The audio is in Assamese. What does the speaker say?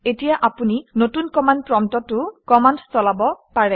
এতিয়া আপুনি নতুন কমাণ্ড প্ৰম্পটতো কমাণ্ড চলাব পাৰে